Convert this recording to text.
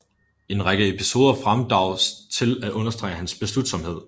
En række episoder fremdrages til at understrege hans beslutsomhed